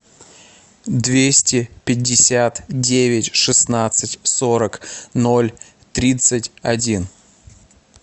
двести пятьдесят девять шестнадцать сорок ноль тридцать один